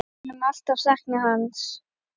Við munum alltaf sakna hans.